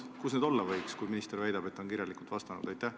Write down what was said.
Kus need olla võiks, kui minister väidab, et ta on kirjalikult vastanud?